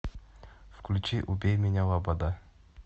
включи убей меня лобода